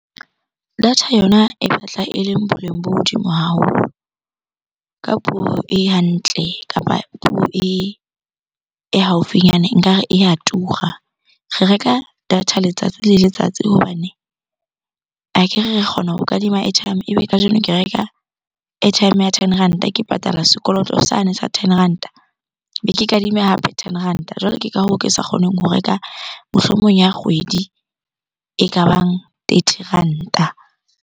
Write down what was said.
Data yona e batla eleng boleng bo hodimo haholo. Ka puo e hantle kapa puo e haufinyane nkare e ya tura. Re reka data letsatsi le letsatsi hobane akere re kgona ho kadima airtime, ebe kajeno ke reka airtime ya ten ranta ke patala sekoloto sane sa ten ranta. Be ke kadime hape ten ranta. Jwale ke ka hoo ke sa kgoneng ho reka mohlomong ya kgwedi e kabang thirty ranta.